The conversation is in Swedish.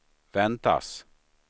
väntas